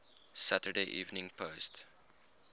saturday evening post